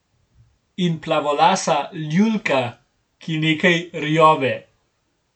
In Plavolasa Ljulka, ki nekaj rjove.